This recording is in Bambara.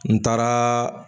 N taaraa